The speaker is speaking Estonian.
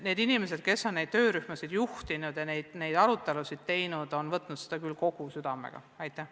Need inimesed, kes on töörühmi juhtinud ja arutelusid pidanud, on küll oma tööd südamega teinud.